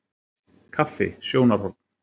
Kaffi- sjónarhorn.